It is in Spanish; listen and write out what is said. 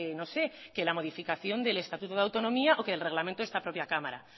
no sé que la modificación del estatuto de autonomía o que del reglamento de esta propia cámara